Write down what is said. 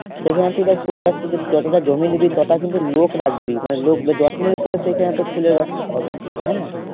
সেখানে তুই ধর ফুল গাছ তুই যতটা জমি নিবি তটা কিন্তু লোক রাখবি মানে লোক সেখানে তোর ফুলের হবে কিন্তু হ্যাঁ